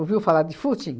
falar de footing?